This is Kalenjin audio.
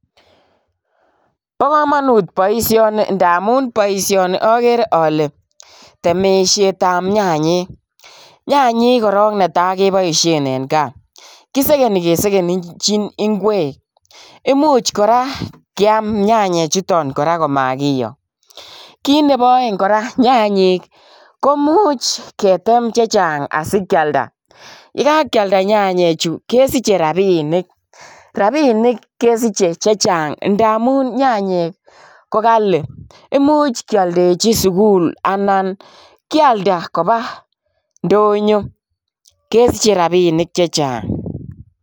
bo kamanut boisioni amu boisioni agere ale temisiet ab nyayek , nyanyek netai keboisheneng kaa . kiboisien eng kesenitiet ab nyanyek komakiyoo . nyanyek koraa komuch ketem chechang asikealda asikesich rabinik ak kesiche chechang ndamuu nyanyek kokali. imuch kealdachi sukul am nyanyek kouch koba ndonyo kesiche rabinik chechang